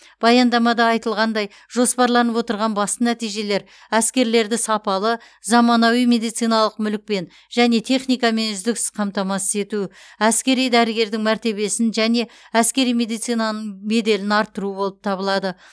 баяндамада айтылғандай жоспарланып отырған басты нәтижелер әскерлерді сапалы заманауи медициналық мүлікпен және техникамен үздіксіз қамтамасыз ету әскери дәрігердің мәртебесін және әскери медицинаның беделін арттыру болып табылады